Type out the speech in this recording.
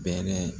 Bɛɛɛ